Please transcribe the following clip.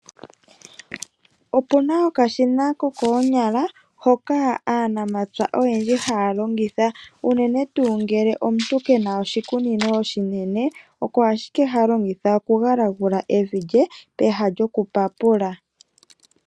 Opu na okashina kokoo nyala hoka aanamapya oyendji haya longitha, unene tuu ngele omuntu kena oshi kunino oshinene, oko ashike ha longitha oku gala gula evi dje, pehala djoku papula.